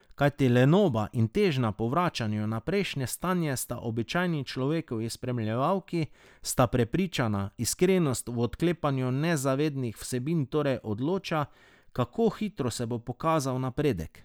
Kajti lenoba in težnja po vračanju na prejšnje stanje sta običajni človekovi spremljevalki, sta prepričana, iskrenost v odklepanju nezavednih vsebin torej odloča, kako hitro se bo pokazal napredek.